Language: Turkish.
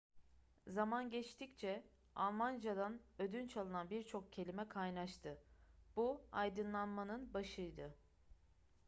zaman geçtikçe almancadan ödünç alınan birçok kelime kaynaştı bu aydınlanmanın başıydı